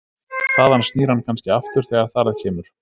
Þaðan snýr hann kannski aftur þegar þar að kemur.